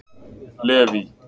Leví